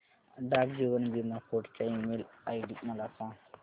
डाक जीवन बीमा फोर्ट चा ईमेल आयडी मला सांग